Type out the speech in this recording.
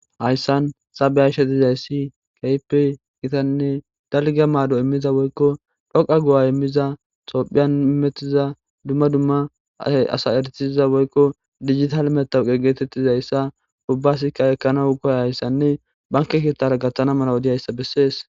hayssan sabeyashe dizayssi kaype gitanne dalga maado immiza woykko phoqa gu7a immiza xophiyan metiza dumma dumma y asa ertiza woykko digital metowuqe getettizayssa ubbasikka ekkanaw koya hayssanne banke kittara gaththana mala wodihayssa bessees